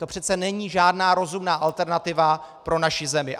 To přece není žádná rozumná alternativa pro naši zemi.